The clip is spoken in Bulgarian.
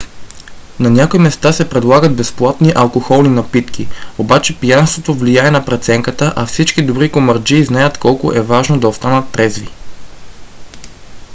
на някои места се предлагат безплатни алкохолни напитки. обаче пиянството влияе на преценката а всички добри комарджии знаят колко е важно да останат трезви